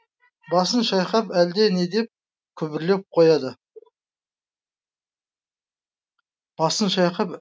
басын шайқап әлде не деп күбірлеп қояды